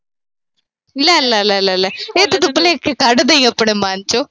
ਲੈ-ਲੈ-ਲੈ-ਲੈ-ਲੈ ਇਹ ਤਾਂ ਭੁਲੇਖੇ ਕੱਢ ਦੇਈ ਆਪਣੇ ਮਨ ਚੋਂ।